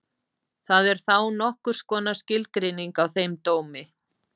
Það er þá nokkurs konar skilgreining á þeim dómi.